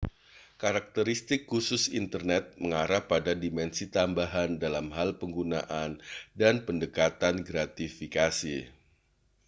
karakteristik khusus internet mengarah pada dimensi tambahan dalam hal penggunaan dan pendekatan gratifikasi